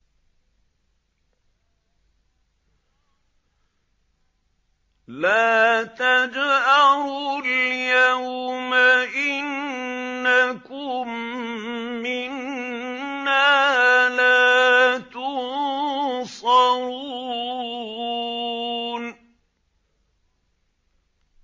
لَا تَجْأَرُوا الْيَوْمَ ۖ إِنَّكُم مِّنَّا لَا تُنصَرُونَ